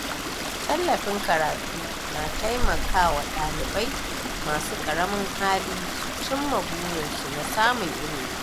Tallafin karatu na taimaka wa dalibai masu ƙaramin hali su cimma burinsu na samun ilimi